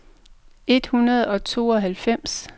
et hundrede og tooghalvfems